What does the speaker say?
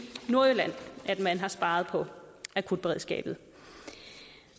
nordjylland at man har sparet på akutberedskabet